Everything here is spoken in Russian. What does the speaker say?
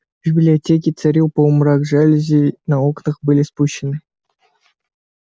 в библиотеке царил полумрак жалюзи на окнах были спущены